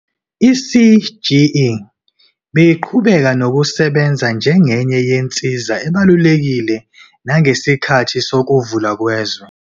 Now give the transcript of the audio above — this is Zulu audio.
I-CGE beyiqhubeka nokusebenza njengenye yensiza ebalulekile nangesikhathi sokuvalwa kwezwe.